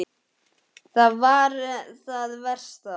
Það var það versta.